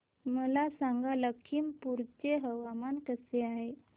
मला सांगा लखीमपुर चे हवामान कसे आहे